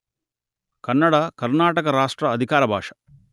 కన్నడ కర్ణాటక రాష్ట్ర అధికార భాష